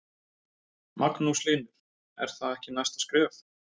Magnús Hlynur: Er það ekki næsta skref?